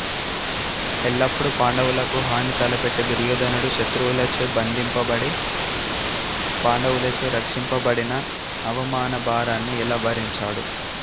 ఎల్లప్పుడూ పాండవులకు హాని తలపెట్టే దుర్యోధనుడు శత్రువులచే బంధింపబడి పాండవులచే రక్షింపబడిన అవమాన భారాన్ని ఎలా భరించాడు